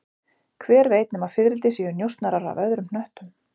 Hver veit nema fiðrildi séu njósnarar af öðrum hnöttum